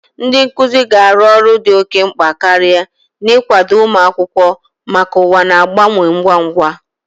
Ndị nkuzi ga-arụ ọrụ dị oke mkpa karịa n'ịkwado ụmụ akwụkwọ maka ụwa na-agbanwe ngwa ngwa.